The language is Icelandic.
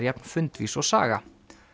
jafn fundvís og Saga